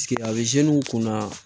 a bɛ kun na